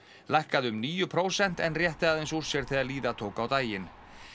lækkaði um níu prósent en rétti aðeins úr sér þegar líða tók á daginn